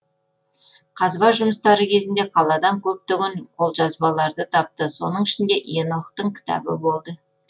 қазба жұмыстары кезінде қаладан көптеген қолжазбаларды тапты соның ішінде енохтың кітабы болды